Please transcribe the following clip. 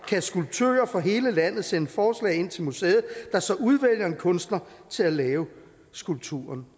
kan skulptører fra hele landet sende forslag ind til museet der så udvælger en kunstner til at lave skulpturen